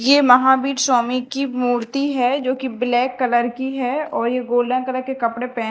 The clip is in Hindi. ये महावीर स्वामी की मूर्ति है जो की ब्लैक कलर की है और ये गोला कलर के कपड़े पहने--